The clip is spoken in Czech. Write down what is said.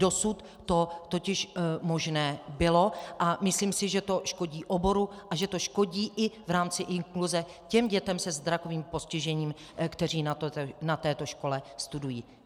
Dosud to totiž možné bylo a myslím si, že to škodí oboru a že to škodí i v rámci inkluze těm dětem se zrakovým postižením, které na této škole studují.